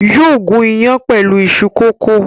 Yóò gún iyán pẹ̀lú iṣu kókò.